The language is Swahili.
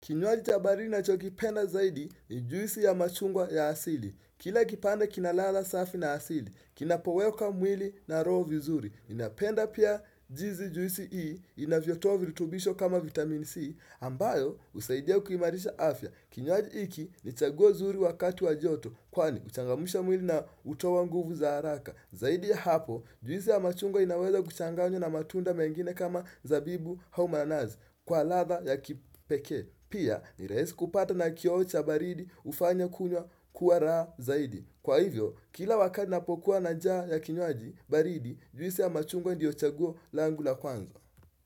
Kinywaji cha baridi nachokipenda zaidi ni juisi ya machungwa ya asili. Kila kipande kina ladha safi na asili, kinapowekwa mwili na roho vizuri. Napenda pia jinsi juisi hii, inavyo toa virutubisho kama vitamin C, ambayo husaidia kuimarisha afya. Kinyowaji hiki ni chaguo nzuri wakati wa joto, kwani uchangamsha mwili na hutoa nguvu za haraka. Zaidi ya hapo, juisi ya machungwa inaweza kuchanganywa na matunda mengine kama zabibu au manasi kwa ladha ya kipekee. Pia ni rahisi kupata na kioo cha baridi hufanya kunywa kuwa raha zaidi. Kwa hivyo, kila wakati napokuwa na njaa ya kinywaji baridi, juisi ya machungwa ndiyo chaguo langu la kwanza.